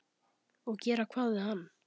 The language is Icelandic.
Og gera hvað við hann?